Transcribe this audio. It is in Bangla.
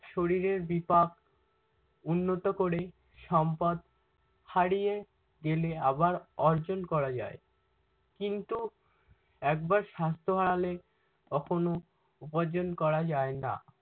শরীরের বিপাক উন্নত করে। সম্পদ হারিয়ে গেলে আবার অর্জন করা যায় কিন্তু একবার স্বাস্থ্য হারালে কখনও উপার্জন করা যায় না।